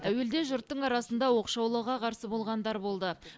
әуелде жұрттың арасында оқшаулауға қарсы болғандар болды